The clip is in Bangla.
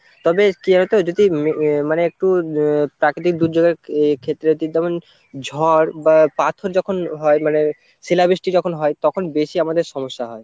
তবে কি জানো তো যদি মানে একটু প্রাকৃতিক দুর্যোগের ক্ষে~ ক্ষেত্রে তেমন ঝড় বা পাথর যখন হয় মানে শিলাবৃষ্টি যখন হয় তখন বেশি আমাদের সমস্যা হয়।